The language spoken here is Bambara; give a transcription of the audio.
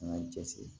An ka cɛsiri